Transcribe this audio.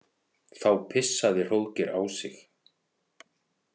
Þá pissaði Hróðgeir á sig.